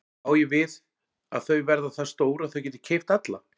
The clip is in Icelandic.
Þá á ég við að þau verða það stór að þau geti keypt alla?